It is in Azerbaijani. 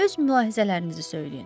Öz mülahizələrinizi söyləyin.